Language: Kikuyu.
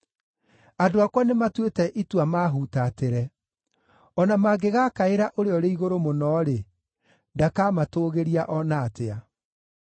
Andũ akwa nĩmatuĩte itua maahuutatĩre. O na mangĩgaakaĩra Ũrĩa-ũrĩ-Igũrũ-Mũno-rĩ, ndakamatũgĩria o na atĩa.